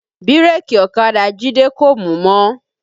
Bírèkì ọ̀kadà Jide kò mú mọ́